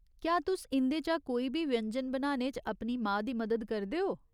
क्या तुस इं'दे चा कोई बी व्यंजन बनाने च अपनी मां दी मदद करदे ओ ?